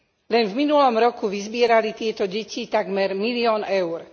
Len v minulom roku vyzbierali tieto deti takmer milión EUR.